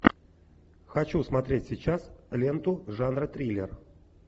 хочу смотреть сейчас ленту жанра триллер